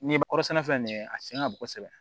N'i ye kɔrɔsɛnɛ fɛn nin ye a sen ka bon kosɛbɛ